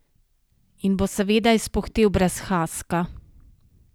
In bo seveda izpuhtel brez haska.